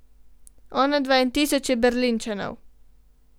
Onadva in tisoče Berlinčanov.